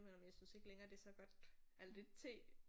Jeg må indrømme jeg synes ikke længere det er så godt alt det T